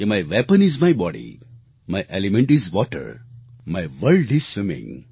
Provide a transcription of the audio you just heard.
my weapon is my body my element is water my world is swimming